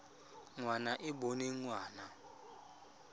ngwana e e boneng ngwana